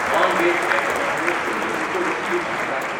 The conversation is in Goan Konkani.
नॉन वेज आयटमांतल्यो सवलतीच्यो वस्तू म्हाका दाखय.